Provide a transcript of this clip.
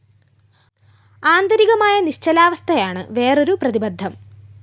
ആന്തരികമായ നിശ്ചലാവസ്ഥയാണ് വേറൊരു പ്രതിബദ്ധം